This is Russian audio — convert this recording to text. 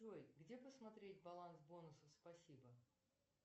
джой где посмотреть баланс бонусов спасибо